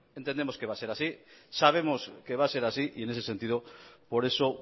entendemos que va a ser así sabemos que va a ser así y en ese sentido por eso